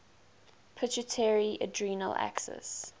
pituitary adrenal axis